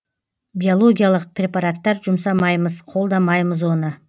биологиялық препараттар жұмсамаймыз қолдамаймыз оны